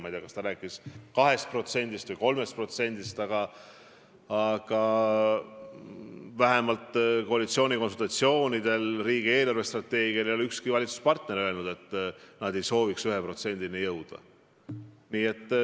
Ma ei tea, kas jutt oli 2%-st või 3%-st, aga vähemalt koalitsioonikonsultatsioonidel ja riigi eelarvestrateegia arutamisel ei öelnud ükski valitsusosaline, et nad ei soovi 1%-ni jõuda.